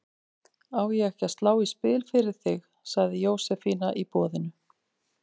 Á ég ekki að slá í spil fyrir þig? sagði Jósefína í boðinu.